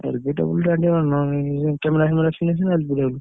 LBW ଟା camera ଫ୍ୟାମେରା ଥିଲେ ସିନା LBW ।